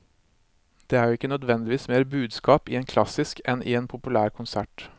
Det er jo ikke nødvendigvis mer budskap i en klassisk enn i en populær konsert.